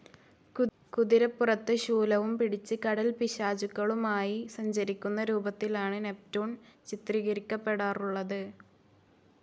കുതിരപ്പുറത്ത് ശൂലവും പിടിച്ച് കടൽപ്പിശാചുകളുമായി സഞ്ചരിക്കുന്ന രൂപത്തിലാണ് നെപ്റ്റൂൺ ചിത്രീകരിക്കപെടാറുള്ളത്.